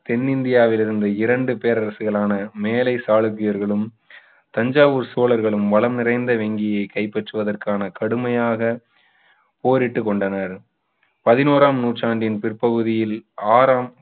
தென்னிந்தியாவிலிருந்து இரண்டு பேரரசுகளான மேலை சாளுக்கியர்களும் தஞ்சாவூர் சோழர்களும் வளம் நிறைந்த வெங்கியை கைப்பற்றுவதற்கான கடுமையாக போரிட்டுக் கொண்டனர் பதினோராம் நூற்றாண்டின் பிற்பகுதியில் ஆறாம்